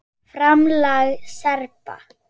FRAMLAG SERBA